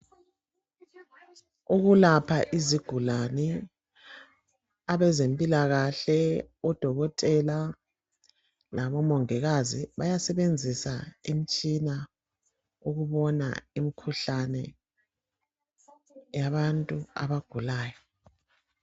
Ukulapha izigulane abezempilakahle oDokotela labomongikazi bayasebenzisa imtshina ukubona imkhuhlane yabantu abagulayo.